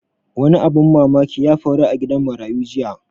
Wani abun mamaki ya faru a gidan marayu jiya